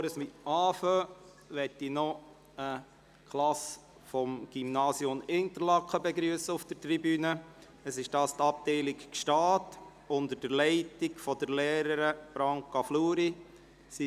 Bevor wir diese zu beraten beginnen, möchte ich auf der Tribüne eine Klasse des Gymnasiums Interlaken, Abteilung Gstaad, unter der Leitung der Lehrerin Branka Fluri, begrüssen.